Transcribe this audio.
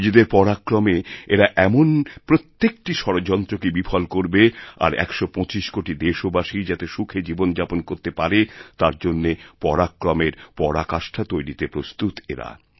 নিজেদের পরাক্রমে এরা এমন প্রত্যেকটি ষড়যন্ত্রকেবিফল করবে আর একশো পঁচিশ কোটি দেশবাসী যাতে সুখে জীবন যাপন করতে পারে তার জন্যপরাক্রমের পরাকাষ্ঠা তৈরিতে প্রস্তুত এরা